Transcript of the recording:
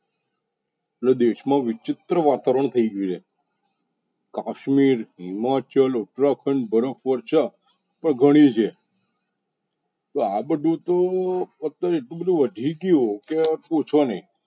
દેશ મા વિચિત્ર વતાવરણ થઇ ગયુ છે. કાશમીર, હિમાચલ, ઉત્તરાખંડ, બરફ વર્ષા તો ગણી છે તો આ બધુ તો એટલુ બધુ વધી ગયુ કે પુછો નઇ.